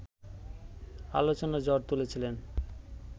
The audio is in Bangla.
আলোচনার ঝড় তুলেছিলেন